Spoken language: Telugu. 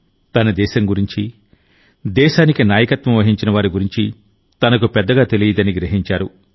తన దేశం గురించి దేశానికి నాయకత్వం వహించిన వారి గురించి తనకు పెద్దగా తెలియదని గ్రహించారు